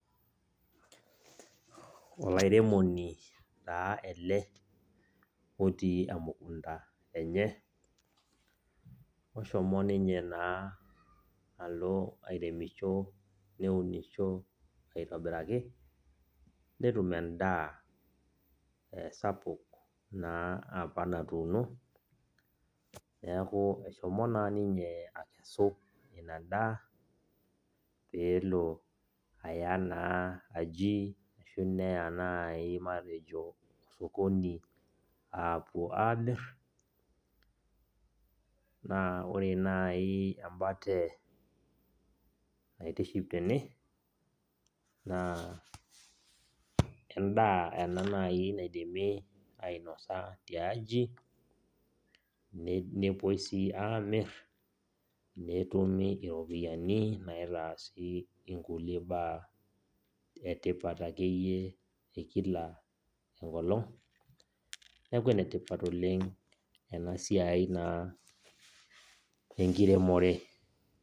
Olairemoni taa ele, otii emukunda enye. Oshomo ninye naa alo airemisho neunisho aitobiraki, netum endaa sapuk naa apa natuuno, neeku eshomo naa ninye akesu inadaa, peelo aya naa aji ashu neya nai matejo osokoni apuo amir, naa ore nai embate naitiship tene, naa endaa ena nai naidimi ainosa tiaji, nepoi si aamir, netumi iropiyiani naitaasi inkulie baa etipat akeyie ekila enkolong. Neeku enetipat oleng enasiai naa enkiremore.